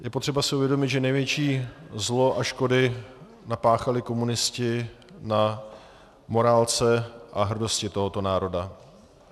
Je potřeba si uvědomit, že největší zlo a škody napáchali komunisti na morálce a hrdosti tohoto národa.